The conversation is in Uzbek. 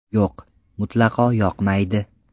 Yo‘q, mutlaqo yoqmaydi.